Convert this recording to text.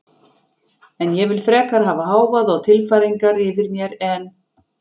En ég vil frekar hafa hávaða og tilfæringar yfir mér en